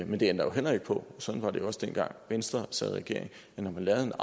men det ændrer jo heller ikke på sådan var det jo også dengang venstre sad i regering at når man lavede en